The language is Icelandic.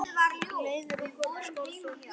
Leiðir okkar skárust oft.